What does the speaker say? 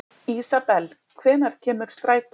Ísabel, hvenær kemur strætó númer tuttugu og níu?